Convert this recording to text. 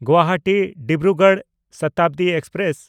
ᱜᱩᱣᱟᱦᱟᱴᱤ–ᱰᱤᱵᱽᱨᱩᱜᱽ Shatabdi express